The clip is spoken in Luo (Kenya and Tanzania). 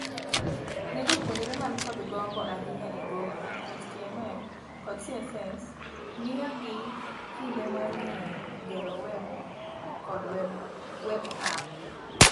Ne jopuonjre man kod gombo ahinya e goro, HTML,kod CSS miyogi kinde mar ng'eyo gero web kod web app.